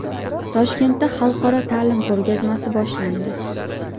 Toshkentda xalqaro ta’lim ko‘rgazmasi boshlandi.